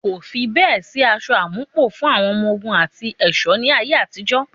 Kò fi bẹ́ẹ̀ sí aṣọ àmúpọ̀ fún àwọn ọmọ ogun àti ẹ̀ṣọ́ ní ayé àtijó.